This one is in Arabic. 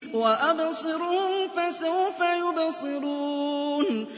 وَأَبْصِرْهُمْ فَسَوْفَ يُبْصِرُونَ